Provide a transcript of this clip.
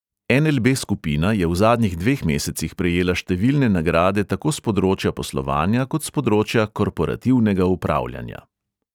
En|el|be skupina je v zadnjih dveh mesecih prejela številne nagrade tako s področja poslovanja kot s področja korporativnega upravljanja.